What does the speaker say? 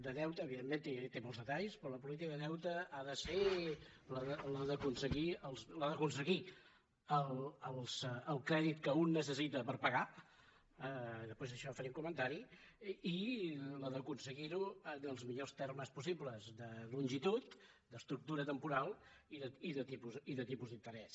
de deute evidentment té molt detalls però la política de deute ha de ser la d’aconseguir el crèdit que un necessita per pagar després a això en faré un comentari i la d’aconseguir ho en els millors termes possibles de longitud d’estructura temporal i de tipus d’interès